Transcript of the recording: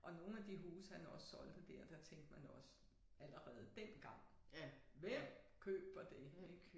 Og nogle af de huse han også solgte dér der tænkte man også allerede dengang hvem køber det